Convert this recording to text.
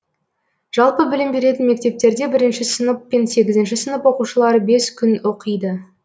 жалпы білім беретін мектептерде бірінші сынып пен сегізші сынып оқушылары бес күн оқиды